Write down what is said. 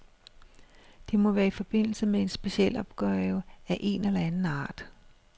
Det må være i forbindelse med en specialopgave af én eller anden art.